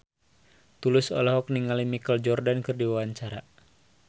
Tulus olohok ningali Michael Jordan keur diwawancara